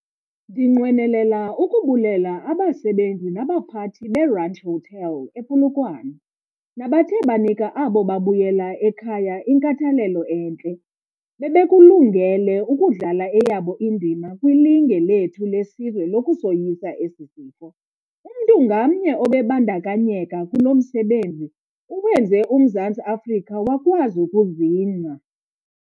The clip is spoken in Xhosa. Ndinqwenela ukubulela abasebenzi nabaphathi be-Ranch Hotel, ePolokwane, nabathe banika abo babuyela ekhaya inkathalelo entle. Bebekulungele ukudlala eyabo indima kwilinge lethu lesizwe lokusoyisa esi sifo. Umntu ngamnye obe bandakanyeka kulo msebenzi, uwenze uMzantsi Afrika wakwazi ukuzingca.